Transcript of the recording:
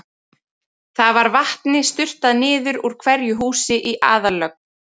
Þar var vatni sturtað niður úr hverju húsi í aðallögn.